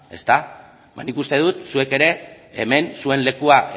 nik uste dut zuek ere hemen zuen lekua